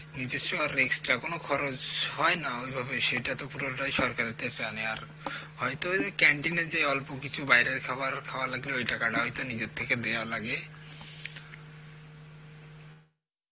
নিজস্ব আর extra কোন খরচ হয় না ওইভাবে সেটা তো পুরোটাই সরকারের থেকে নেয়া আর হয়তো এদের canteen এ যে অল্প কিছু বাইরের খাবার খাওয়া লাগে ওই টাকাটা হয়তো নিজের থেকে দেয়া লাগে